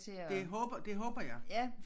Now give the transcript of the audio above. Det håber det håber jeg